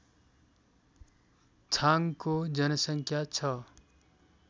छाङको जनसङ्ख्या छ